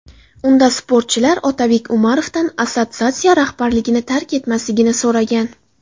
Unda sportchilar Otabek Umarovdan assotsiatsiya rahbarligini tark etmasligini so‘ragan.